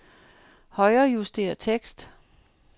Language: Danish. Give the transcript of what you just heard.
Højrejuster tekst.